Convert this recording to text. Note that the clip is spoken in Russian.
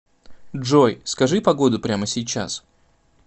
джой скажи погоду прямо сейчас